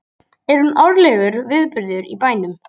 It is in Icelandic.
Er hún árlegur viðburður í bænum